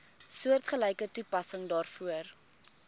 soortgelyke toepassing daarvoor